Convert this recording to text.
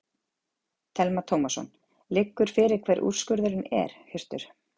Telma Tómasson: Liggur fyrir hver úrskurðurinn er Hjörtur?